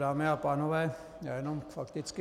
Dámy a pánové, já jenom fakticky.